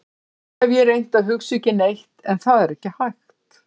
Stundum hef ég reynt að hugsa ekki neitt en það er ekki hægt.